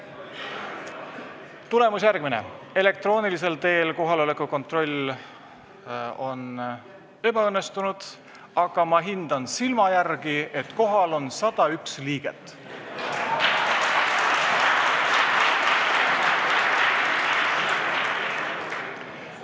Tulemus on järgmine: elektroonilisel teel tehtud kohaloleku kontroll ebaõnnestus, aga ma hindan silma järgi, et kohal on 101 Riigikogu liiget.